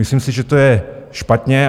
Myslím si, že to je špatně.